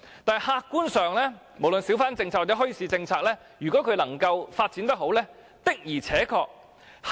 但是客觀上，無論小販政策或墟市政策，若能夠好好發展，的確是有如此作用。